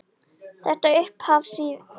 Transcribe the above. Þetta upphaf lýsir Siggu vel.